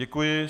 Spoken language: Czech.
Děkuji.